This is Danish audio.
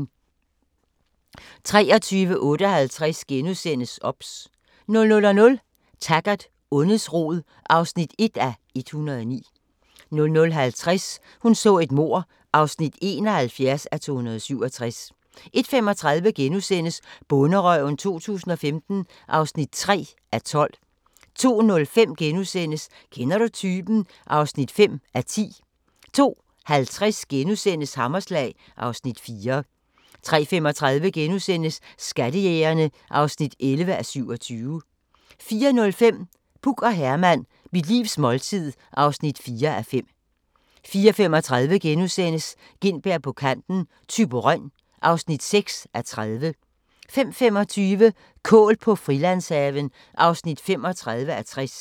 23:58: OBS * 00:00: Taggart: Ondets rod (1:109) 00:50: Hun så et mord (71:267) 01:35: Bonderøven 2015 (3:12)* 02:05: Kender du typen? (5:10)* 02:50: Hammerslag (Afs. 4)* 03:35: Skattejægerne (11:27)* 04:05: Puk og Herman – mit livs måltid (4:5) 04:35: Gintberg på kanten – Thyborøn (6:30)* 05:25: Kål på Frilandshaven (35:60)